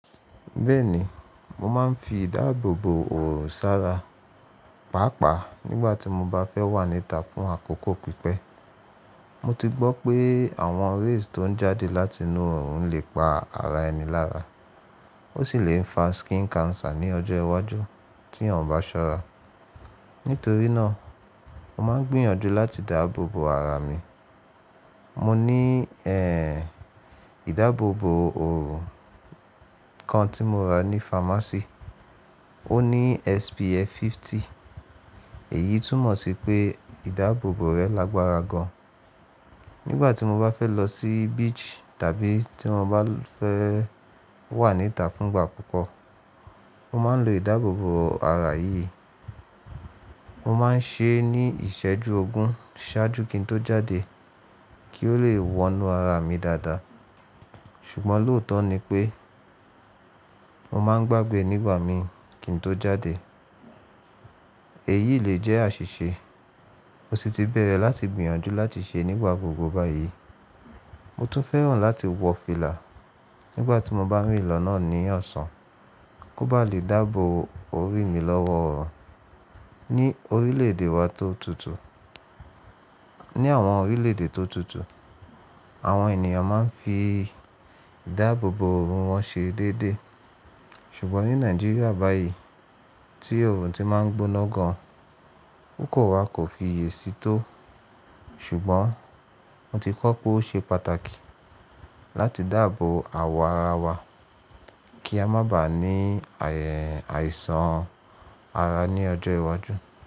Bẹ́ẹ̀ni, mo máa ń fi ìdáàbòbò òòrùn sára pàápàá nígbà tí mo bá fẹ́ wà níta fún àkókò pípẹ́. Mo ti gbọ́ pé àwọn rays tó ń jáde láti inú òòrùn lè pa ara ẹni lára. Ó sì lè fa skin cancer ní ọjọ́ iwájú tí a ò bá ṣọ́ra. Nítorí náà, mo máa ń gbìyànjú láti dáàbòbò ara mi. Mo ní ẹ́ ìdáàbòbò òòrùn kan tí mo ra ní pharmacy. Ó ní SPF 50. Èyí túmọ̀ sí pé ìdáàbòbò rẹ lágbára gan-an. Nígbà tí mo bá fẹ́ lọ sí beach tàbí tí mo bá fẹ́ wà níta fún ìgbà púpọ̀, mo máa ń lo ìdáàbòbò ara yìí. Mo máa ń ṣe é ní ìṣẹ́jú ogún ṣáájú kí n tó jáde kí ó lè wọnú ara mi dáadáa. Ṣùgbọ́n lóòótọ́ ni pé mo máa ń gbàgbé e nígbà mi kí n tó jáde. Èyí le jẹ́ àṣìṣe. Mo sì ti bẹ̀rẹ̀ láti gbìyànjú láti ṣe é nígbà gbogbo báyìí. Mo tún fẹ́ràn láti wọ fìlà nígbà tí mo bá mì í lọ́nà ní ọ̀sán kó ba lè dáàbò òòrùn mi lọ́wọ́. Ní orílẹ̀ èdè wa tó tutù, ní àwọn orílẹ̀ èdè tó tutù, àwọn ènìyàn máa ń fi ìdáàbòbò òòrùn wọn ṣe déédéé. Ṣùgbọ́n ní Nàìjíríà báyìí tí òòrùn ti máa ń gbóná gan, kòkò wa kò fiye sí tó. Ṣùgbọ́n mo ti kọ́ pé ó ṣe pàtàkì láti dáàbò àwọ̀ ara wa kí a má ba à ní ày- àìsàn ara ní ọjọ́ iwájú.